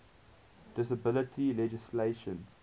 disability legislation